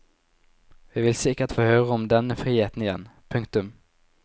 Vi vil sikkert få høre om denne friheten igjen. punktum